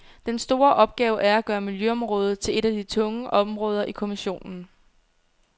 Den store opgave er at gøre miljøområdet til et af de tunge områder i kommissionen.